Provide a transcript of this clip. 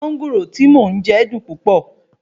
Mánńgòrò tí mo n jẹ dùn púpọ̀